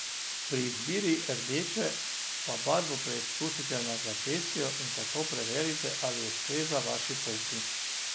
Pri izbiri rdeče pa barvo preizkusite na zapestju in tako preverite, ali ustreza vaši polti.